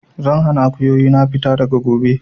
Zan hana Akuyoyi na fita daga gobe!